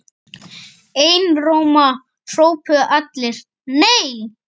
Einróma hrópuðu allir: NEI!